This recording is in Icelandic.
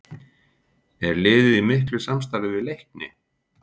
Er liðið í miklu samstarfi við Leikni?